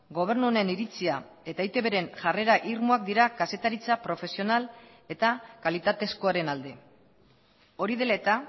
gobernu honen iritzia eta eitbren jarrera irmoak dira kazetaritza profesional eta kalitatezkoaren alde hori dela eta